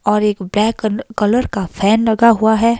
और एक black colour का फैन लगा हुआ है।